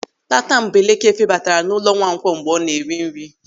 Tatambeleke febatara n'ụlọ Nwankwo mgbe ọ na-eri nri.